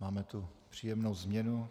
Máme tu příjemnou změnu.